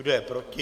Kdo je proti?